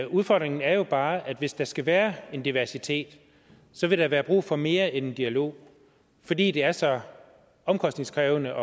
udfordringen er jo bare at hvis der skal være en diversitet vil der være brug for mere end en dialog fordi det er så omkostningskrævende